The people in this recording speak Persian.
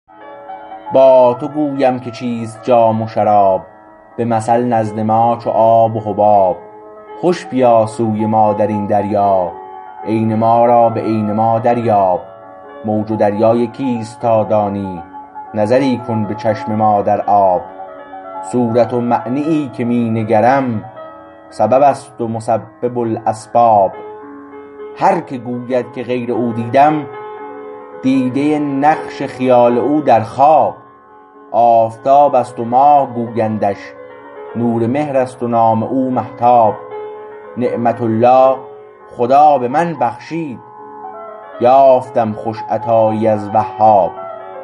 با تو گویم که چیست جام و شراب به مثل نزد ما چو آب و حباب خوش بیا سوی ما در این دریا عین ما را به عین ما دریاب موج و دریا یکیست تا دانی نظری کن به چشم ما در آب صورت و معنیی که می نگرم سبب است و مسبب الاسباب هر که گوید که غیر او دیدم دیده نقش خیال او در خواب آفتاب است و ماه گویندش نور مهر است و نام او مهتاب نعمت الله خدا به من بخشید یافتم خوش عطایی از وهاب